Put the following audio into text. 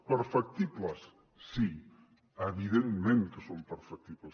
perfectibles sí evidentment que són perfectibles